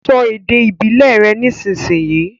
So èdè ìbílè rẹ nísìsiyìí!